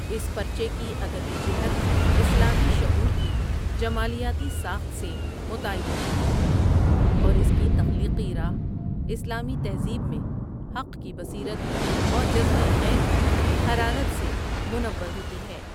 اس پرچے کی ادبی جہت اسلامی شعور کی جمالیاتی ساخت سے متعین ہوتی ہے اوراس کی تخلیقی راہ اسلامی تہذیب میں حق کی بصیرت اور جذبۂ خیر کی حرارت سے منور ہوتی ہے ۔